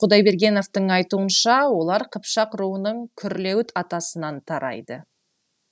құдайбергеновтың айтуынша олар қыпшақ руының күрлеуіт атасынан тарайды